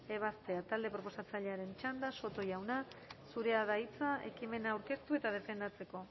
ebaztea talde proposatzailearen txanda soto jauna zurea da hitza ekimena aurkeztu eta defendatzeko